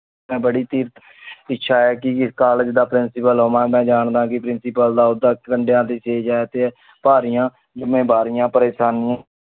ਮਈ ਬੜੀ ਤੀਰ ਇੱਛਾ ਹੈ ਕਿ ਇਸ ਕਾਲੇਜ ਦਾ principal ਹੋਵਾਂ। ਮੈਂ ਏਨਾ ਜਾਂਦਾ ਕੀ principal ਦਾ ਓਦਾ ਕੰਦ੍ਯਾ ਦੀ ਚੀਜ਼ ਆ ਟੀ ਭਾਰੀਆਂ ਜਿੰਮੇਵਾਰੀਆਂ ਪਾਰੇਯ੍ਸ਼ਾਨੀ